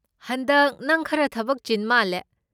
ꯍꯟꯗꯛ ꯅꯪ ꯈꯔ ꯊꯕꯛ ꯆꯤꯟ ꯃꯥꯜꯂꯦ꯫